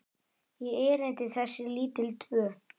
í erindi þessi lítil tvö.